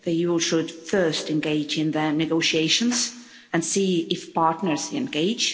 The EU should first engage in the negotiations and see if partners engage.